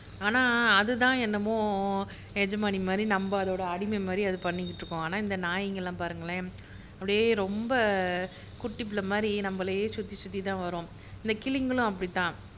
ஆனா அது தான் என்னமோ எஜமானி மாதிரி நம்ம அதோட அடிமை மாதிரி அது பண்ணிக்கிட்டு இருக்கும் ஆனா இந்த நாய்ங்க எல்லாம் பாருங்களேன் அப்படியே ரொம்ப குட்டிபுள்ளை மாதிரி நம்மளையே சுத்தி சுத்தி தான் வரும் இந்த கிளிங்களும் அப்படித் தான்